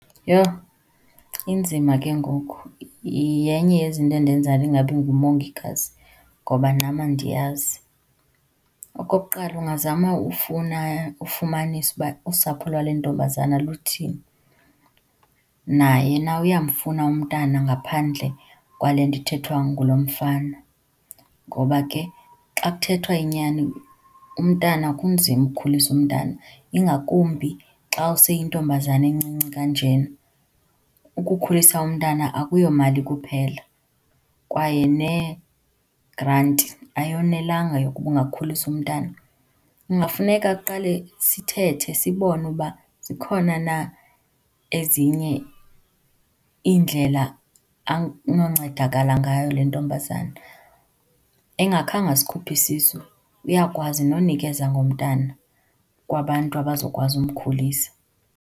Yho, inzima ke ngoku! Yenye yezinto endenza ndingabi ngumongikazi ngoba nam andiyazi. Okokuqala, ungazama ufuna, ufumanisa uba usapho lwale ntombazana luthini. Naye na uyamfuna umntana ngaphandle kwale nto ithethwa ngulo mfana? Ngoba ke xa kuthethwa inyani umntana, kunzima ukukhulisa umntana ingakumbi xa useyintombazana encinci kanjena. Ukukhulisa umntana akuyomali kuphela kwaye neegranti ayonelanga yokuba ungakhulisa umntana. Kungafuneka kuqale sithethe, sibone uba zikhona na ezinye iindlela anoncedakala ngayo le ntombazana. Engakhange asikhuphe isisu, uyakwazi nonikeza ngomntana kwabantu abazokwazi umkhulisa.